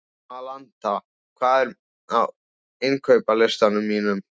Alanta, hvað er á innkaupalistanum mínum?